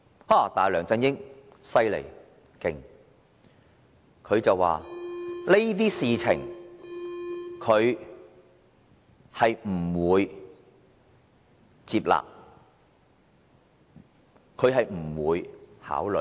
可是，梁振英真厲害，他表示這些事情他不會接納，不會考慮。